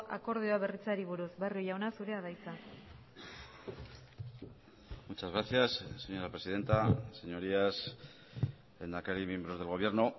akordioa berritzeari buruz barrio jauna zurea da hitza muchas gracias señora presidenta señorías lehendakari miembros del gobierno